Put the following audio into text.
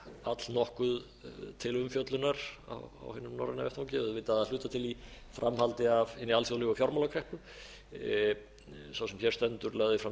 allnokkuð til umfjöllunar á þessum norræna vettvangi auðvitað að hluta til í framhaldi af hinni alþjóðlegu fjármálakreppu sá sem hér stendur lagði fram